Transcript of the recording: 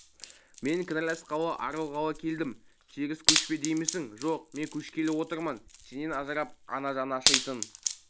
мен кінәласқалы арылғалы келдім теріс көшпе деймісің жоқ мен көшкелі отырмын сенен ажырап ана жаны ашитын